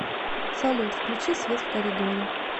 салют включи свет в коридоре